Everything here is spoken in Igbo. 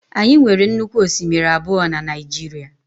Anyị nwere nnukwu osimiri abụọ na Naịjirịa.